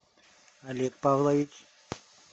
олег павлович